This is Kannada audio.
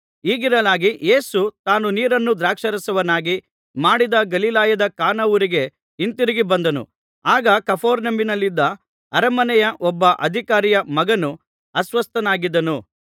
ಹೀಗಿರಲಾಗಿ ಯೇಸು ತಾನು ನೀರನ್ನು ದ್ರಾಕ್ಷಾರಸವನ್ನಾಗಿ ಮಾಡಿದ ಗಲಿಲಾಯದ ಕಾನಾ ಊರಿಗೆ ಹಿಂತಿರುಗಿ ಬಂದನು ಆಗ ಕಪೆರ್ನೌಮಿನಲ್ಲಿದ್ದ ಅರಮನೆಯ ಒಬ್ಬ ಅಧಿಕಾರಿಯ ಮಗನು ಅಸ್ವಸ್ಥನಾಗಿದ್ದನು